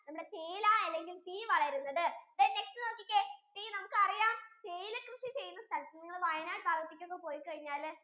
നമ്മുടെ തീയ്യിലാ അല്ലെങ്കിൽ then next വളരുന്നത് then next നോക്കിക്കേ tea നമുക്ക് അറിയാം തീയ്യിലാ കൃഷി ചെയ്യുന്ന സ്ഥലത്തു നിങ്ങൾ വയനാട് ഭാഗത്തേക്ക് ഒക്കെ പോയി കഴിഞ്ഞാൽ